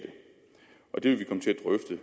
jeg det